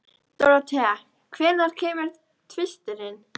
Dorothea, hvenær kemur tvisturinn?